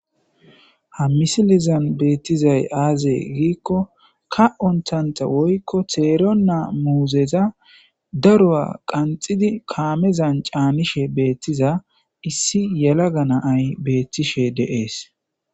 Ha missilezan bettizay azze gikko Ka' ontta woyikko teeron muzzeeza daruwa qanxxidi kammeza caanishe betitza issi yellaga na'ayi deesi